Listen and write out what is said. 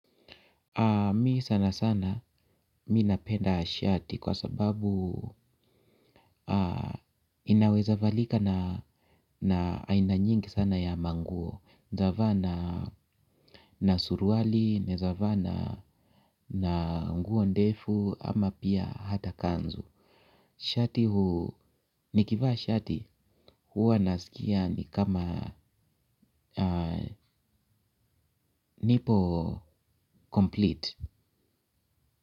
Mimi sana sana ninapenda shati kwa sababu inaweza valika na aina nyingi sana ya mango. Unaeza vaa na na suruali, naeza vaa na na nguo ndefu ama pia hata kanzu. Shati huu, nikivaa shati huwa nasikia ni kama nipo 'complete'.